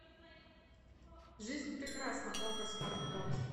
жизнь прекрасна окко смарт бокс